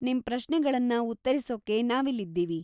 ನಿಮ್‌ ಪ್ರಶ್ನೆಗಳನ್ನ ಉತ್ತರಿಸೊಕ್ಕೆ ನಾವಿಲ್ಲಿದ್ದೀವಿ.